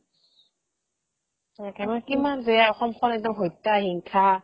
একেবাৰে কিমান যে সংসাৰত একদম হত্যা, হিংসা